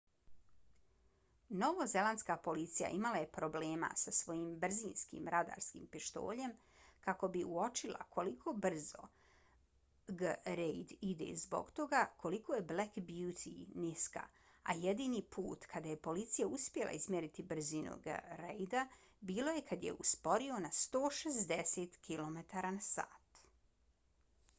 novozelandska policija imala je problema sa svojim brzinskim radarskim pištoljima kako bi uočila koliko brzo g. reid ide zbog toga koliko je black beauty niska a jedini put kada je policija uspjela izmjeriti brzinu g. reida bilo je kad je usporio na 160 km/h